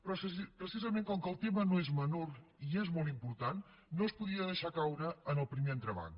però precisament com que el tema no és menor i és molt important no es podia deixar caure en el primer entrebanc